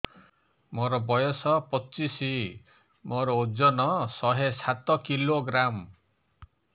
ମୋର ବୟସ ପଚିଶି ମୋର ଓଜନ ଶହେ ସାତ କିଲୋଗ୍ରାମ